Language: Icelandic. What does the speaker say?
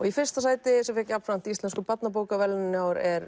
í fyrsta sæti sem fékk jafnframt íslensku barnabókaverðlaunin í ár er